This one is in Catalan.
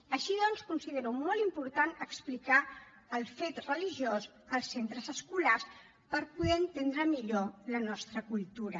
així doncs considero molt important explicar el fet religiós als centres escolars per poder entendre millor la nostra cultura